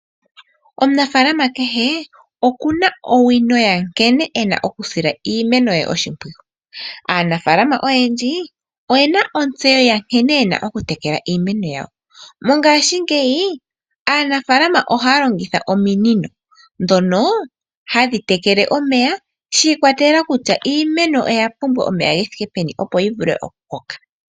Omunafaalama kehe okuna owino yankene e na okusila iimeno ye oshimpwiyu. Aanafaalama oyendji oye na onsteyo yankene ye na oku tekela iimeno yawo. Mongashingeyi aanafaalama ohaya longitha ominino ndhono hadhi tekele omeya sha ikwatelela kutya iimeno oya pumbwa omeya ge thike peni opo yi vule oku koka.